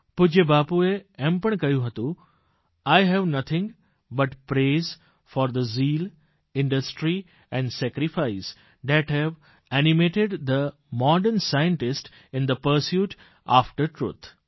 પૂજય બાપુએ એમ પણ કહ્યું હતું I have nothing but praise for the zeal industry and sacrifice that have animated the modern scientist in the pursuit after truth